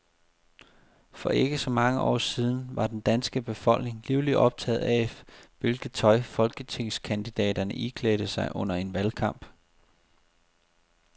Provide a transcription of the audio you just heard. For ikke så mange år siden var den danske befolkning livligt optaget af, hvilket tøj folketingskandidaterne iklædte sig under en valgkamp.